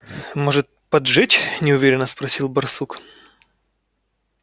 может поджечь неуверенно спросил барсук